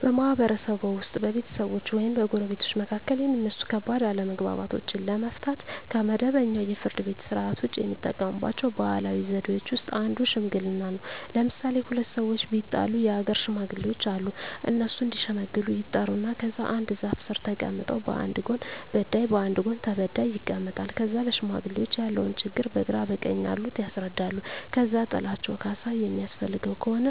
በማህበረሰብዎ ውስጥ በቤተሰቦች ወይም በጎረቤቶች መካከል የሚነሱ ከባድ አለመግባባቶችን ለመፍታት (ከመደበኛው የፍርድ ቤት ሥርዓት ውጪ) የሚጠቀሙባቸው ባህላዊ ዘዴዎች ውስጥ አንዱ ሽምግልና ነው። ለምሣሌ፦ ሁለት ሠዎች ቢጣሉ የአገር ሽማግሌዎች አሉ። እነሱ እዲሸመግሉ ይጠሩና ከዛ አንድ ዛፍ ስር ተቀምጠው በአንድ ጎን በዳይ በአንድ ጎን ተበዳይ ይቀመጣሉ። ከዛ ለሽማግሌዎች ያለውን ችግር በግራ በቀኝ ያሉት ያስረዳሉ። ከዛ ጥላቸው ካሣ የሚያስፈልገው ከሆነ